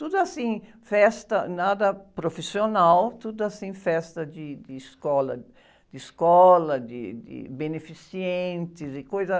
Tudo assim, festa, nada profissional, tudo assim, festa de, de escola, de escola, de, beneficentes e coisa....